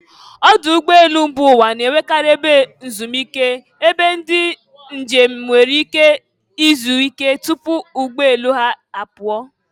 Ọdụ ụgbọ elu mba ụwa na-enwekarị ebe ezumike, ebe ndị njem nwere ike izuike tupu ụgbọ elu ha apụọ.